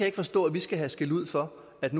ikke forstå at vi skal have skældud for at